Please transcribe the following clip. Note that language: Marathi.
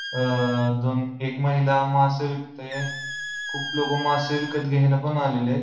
अह दोन एक महिला मासे विकतेय खुप लोक मासे विकत घ्यायला पण आलेले आहेत.